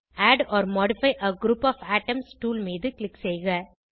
add or modify a group of items tool மீது க்ளிக் செய்க